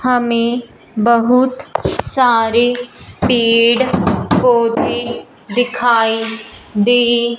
हमें बहुत सारे पेड़ पौधे दिखाई दे--